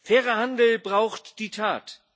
fairer Handel braucht die Tat.